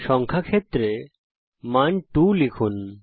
সংখ্যা ক্ষেত্রে মান 2 লিখুন